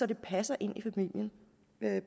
det passer ind i familien